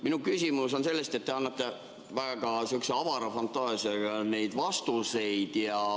Minu küsimus tuleneb sellest, et te annate väga sihukese avara fantaasiaga neid vastuseid.